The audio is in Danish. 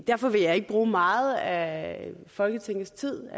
derfor vil jeg ikke bruge meget af folketingets tid